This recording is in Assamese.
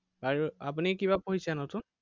আৰু আপুনি কিবা পঢ়িছে নতুন?